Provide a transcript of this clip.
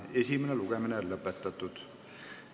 Esimene lugemine on lõppenud.